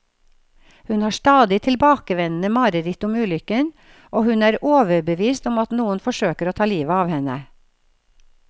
Hun har stadig tilbakevendende mareritt om ulykken, og hun er overbevist om at noen forsøker å ta livet av henne.